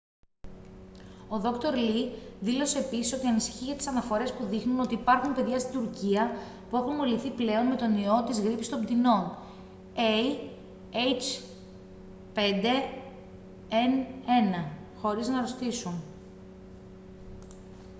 ο δόκτωρ λι δήλωσε επίσης ότι ανησυχεί για τις αναφορές που δείχνουν ότι υπάρχουν παιδιά στην τουρκία που έχουν μολυνθεί πλέον με τον ιό της γρίπης των πτηνών ah5n1 χωρίς να αρρωστήσουν